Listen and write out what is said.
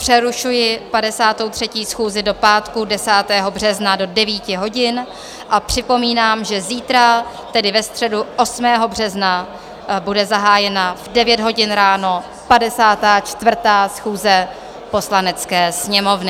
Přerušuji 53. schůzi do pátku 10. března do 9 hodin a připomínám, že zítra, tedy ve středu 8. března, bude zahájena v 9 hodin ráno 54. schůze Poslanecké sněmovny.